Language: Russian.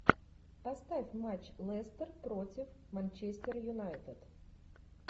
поставь матч лестер против манчестер юнайтед